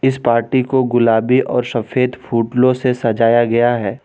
इस पार्टी को गुलाबी और सफेद फूलों से सजाया गया है।